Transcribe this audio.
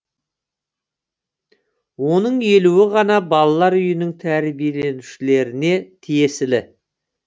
оның елуі ғана балалар үйінің тәрбиеленушілеріне тиесілі